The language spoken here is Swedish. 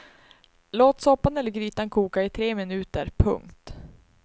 Låt soppan eller grytan koka i tre minuter. punkt